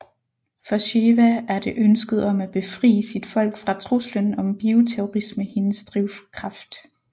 For Sheva er det ønsket om at befrie sit folk fra truslen om bioterrorisme hendes drivkraft